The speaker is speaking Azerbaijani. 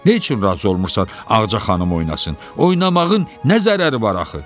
Neçin razı olmursan Ağca xanım oynasın, oynamağın nə zərəri var axı?